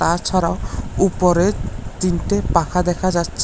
তাছাড়াও উপরে তিনটে পাখা দেখা যাচ্ছে।